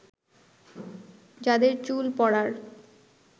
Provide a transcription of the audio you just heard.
যাদের চুল পড়ার